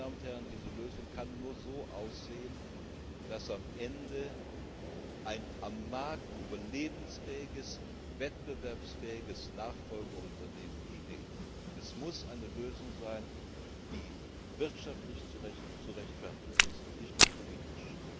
Und diese Lösung kann nur so aussehen, dass am Ende ein am Markt überlebensfähiges, wettbewerbsfähiges Nachfolgeunternehmen steht. Es muss eine Lösung sein, die wirtschaftlich zu rechtfertigen ist, und nicht nur politisch.